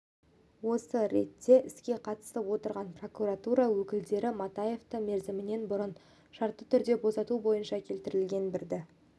осы ретте іске қатысып отырған прокуратура өкілдері матаевты мерзімінен бұрын шартты түрде босату бойынша келтірілген бірде